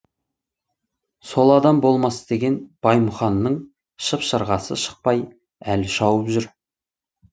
сол адам болмас деген баймұханның шып шырғасы шықпай әлі шауып жүр